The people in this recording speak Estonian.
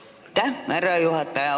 Aitäh, härra juhataja!